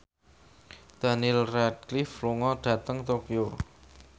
Daniel Radcliffe lunga dhateng Tokyo